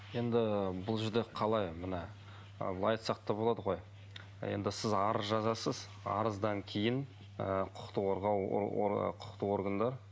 енді бұл жерде қалай мына былай айтсақ та болады ғой енді сіз арыз жазасыз арыздан кейін ы құқықты қорғау құқықтық органдар